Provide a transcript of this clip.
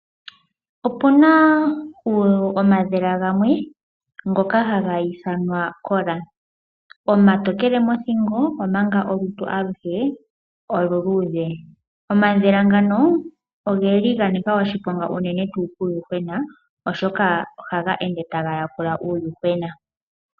Opuna omadhila gamwe ngoka haga ithanwa ekola. Omatokele mothingo omanga olutu aluhe oluluudhe. Omadhila ngano ogeli ga nika oshiponga unene tuu kuuyuhwena oshoka ohaga ende taga yakula uuyuhwena.